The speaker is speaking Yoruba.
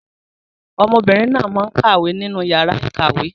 Ọmọbìnrin náà máa ń kàwé ní inú yàrá ìkàwé.